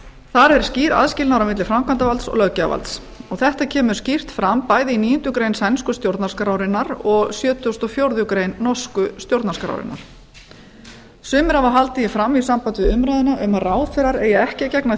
þar er skýr aðskilnaður á milli framkvæmdarvalds og löggjafarvalds þetta kemur skýrt fram bæði í níundu grein sænsku stjórnarskrárinnar og sjötugasta og fjórðu grein norsku stjórnarskrárinnar sumir hafa haldið því fram í sambandi við umræðuna um að ráðherrar eigi ekki að gegna